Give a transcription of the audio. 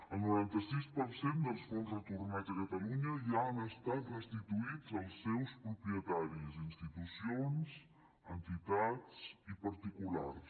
el noranta sis per cent dels fons retornats a catalunya ja han estat restituïts als seus propietaris institucions entitats i particulars